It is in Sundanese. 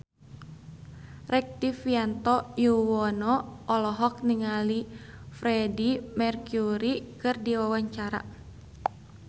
Rektivianto Yoewono olohok ningali Freedie Mercury keur diwawancara